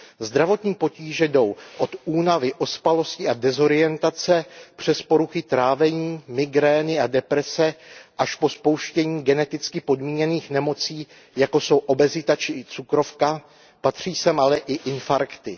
Zdravotní potíže jdou od únavy, ospalosti a dezorientace přes poruchy trávení, migrény a deprese až po spouštění geneticky podmíněných nemocí, jako jsou obezita či cukrovka, patří sem ale i infarkty.